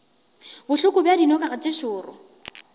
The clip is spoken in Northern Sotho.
bohloko bja dinoga tše šoro